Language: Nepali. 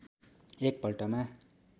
एक पल्टमा